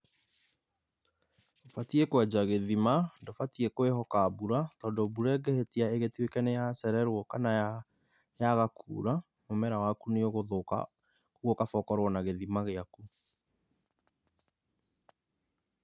Batiĩ kwenja gĩthima, ndũbatiĩ kwĩhoka mbura, tondũ mbura ĩngĩhĩtia ĩgĩtuĩke nĩ yacererwo kana yaga kura, mũmera waku nĩ ũgũthũka koguo kaba ũkorwo na gĩtima gĩaku.